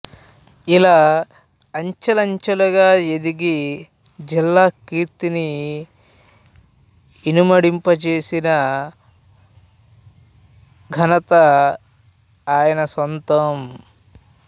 ఇలా అంచెలంచెలుగా ఎదిగి జిలా కీర్తిని ఇనుమడింప జేసిన ఘంత ఆయన సొంతం